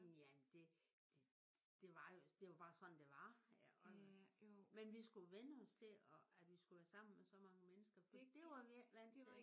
Jamen det det var jo det var bare sådan det var. Men vi skulle vænne os til at vi skulle være sammen med så mange mennesker. For det var vi ikke vant til